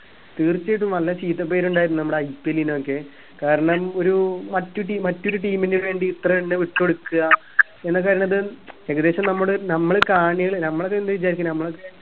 തീച്ചയായിട്ടും നല്ല ചീത്തപ്പേരുണ്ടായിരുന്നു നമ്മുടെ IPL നൊക്കെ കാരണം ഒരു മറ്റു ടീ മറ്റൊരു team ന് വേണ്ടി ഇത്രഞ്ഞെ വിട്ട് കൊടുക്ക ഏകദേശം നമ്മുടെ നമ്മള് കാണികള് നമ്മളൊക്കെ എന്താ വിചാരിക്കുന്നെ നമ്മളൊക്കെ